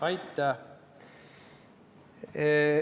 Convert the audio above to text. Aitäh!